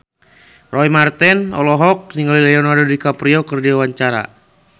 Roy Marten olohok ningali Leonardo DiCaprio keur diwawancara